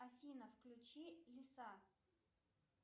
афина включи лиса